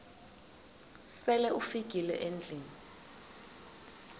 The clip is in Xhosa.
sele ufikile endlwini